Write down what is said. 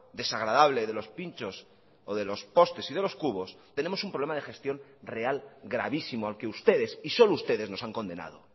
desagradable de los pinchos o de los postes y de los cubos tenemos un problema de gestión real gravísimo al que ustedes y solo ustedes nos han condenado